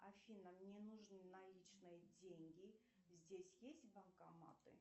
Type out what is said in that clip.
афина мне нужны наличные деньги здесь есть банкоматы